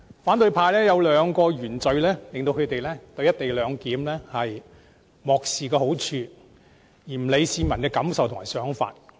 反對派有兩大原罪，令他們漠視"一地兩檢"的好處，不顧市民的感受和想法。